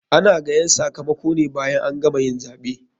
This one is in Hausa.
Ana gayan sakamakone bayan an gama yin zaɓe.